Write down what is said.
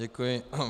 Děkuji.